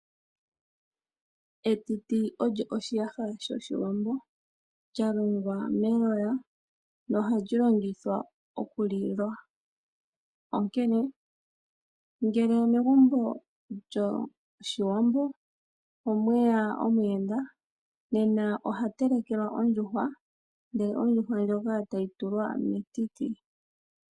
Etiti olyo oshiyaha shoshiwambo lya longwa meloya noha li longithwa okulilwa onkene ngele megumbo lyOshiwambo omwe ya omuyenda nena oha telekelwa ondjuhwa ndele ondjuhwa ndjoka tayi tulwa metiti.